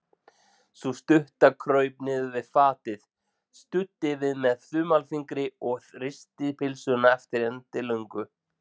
Sú stutta kraup niður við fatið, studdi við með þumalfingri og risti pylsuna eftir endilöngu.